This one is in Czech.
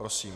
Prosím.